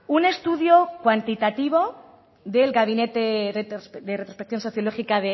un estudio cuantitativo del gabinete de retrospección sociológica